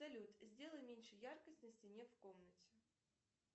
салют сделай меньше яркость на стене в комнате